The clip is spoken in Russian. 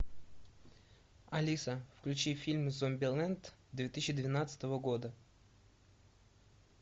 алиса включи фильм зомбилэнд две тысячи двенадцатого года